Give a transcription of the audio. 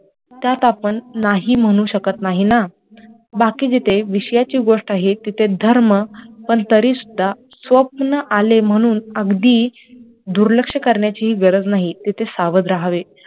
त्यात आपण नाही म्हणू शकत नाही ना, बाकी जिथे विषयाची गोष्ट आहे तिथे धर्म पण तरी सुद्धा स्वप्न आले म्हणून अगदी दुर्लक्ष करण्याचीही गरज नाही तिथे सावध राहावे